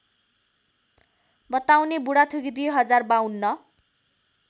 बताउने बुढाथोकी २०५२